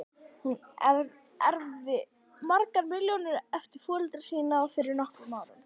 Hún erfði margar milljónir eftir foreldra sína fyrir nokkrum árum.